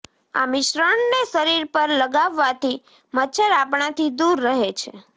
આ મિશ્રણને શરીર પર લગાવવાથી મચ્છર આપણાથી દૂર રહે છે